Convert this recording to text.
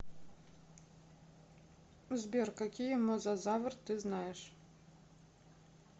сбер какие мозазавр ты знаешь